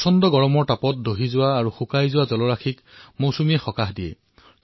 ভীষণ গৰমত শুকাই যোৱা তৰুতৃণ শুকাই যোৱা জলধাৰাসমূহে সকাহ পাইছে